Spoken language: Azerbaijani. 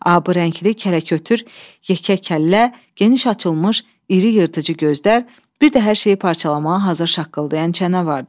Abı rəngli kələkötür, yekə kəllə, geniş açılmış, iri yırtıcı gözlər, bir də hər şeyi parçalamağa hazır şaqqıldayan çənə vardı.